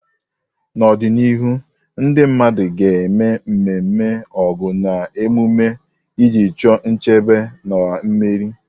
N'ọdịnihu, ndị mmadụ ga-eme ememe Ọgu na emume na emume iji chọọ nchebe na mmeri.